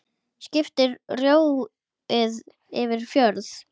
Skipi róið yfir fjörð.